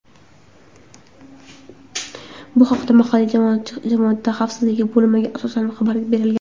Bu haqda mahalliy jamoat xavfsizligi bo‘limiga asoslanib xabar berilgan.